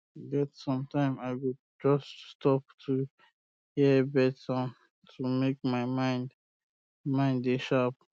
e get sometime i go just stop to hear bird sound to make my mind mind dey sharp